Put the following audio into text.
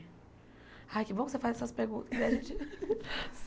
Ai, que bom que você faz essas perguntas, que a gente.